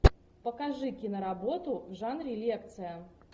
покажи киноработу в жанре лекция